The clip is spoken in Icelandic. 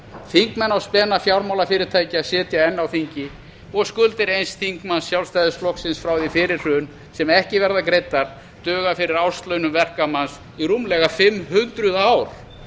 þingmenn á spena fjármálafyrirtækja sitja enn á þingi og skuldir eins þingmanns sjálfstæðisflokksins frá því fyrir hrun sem ekki verða greiddar duga fyrir árslaunum verkamanns í rúmlega fimm hundruð ár